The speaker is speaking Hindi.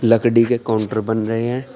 लकड़ी के काउंटर बन रहे हैं।